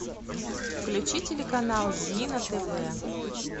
включи телеканал зи на тв